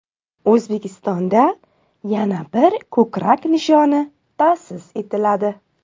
O‘zbekistonda yana bir ko‘krak nishoni ta’sis etiladi.